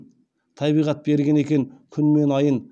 табиғат берген екен күн мен айын